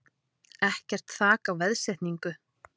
Ekkert þak á veðsetningu